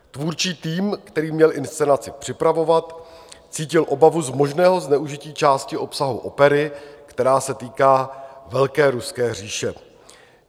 Tvůrčí tým, který měl inscenaci připravovat, cítil obavu z možného zneužití části obsahu opery, která se týká velké ruské říše.